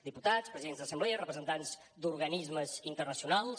diputats presidents d’assemblea representants d’organismes internacionals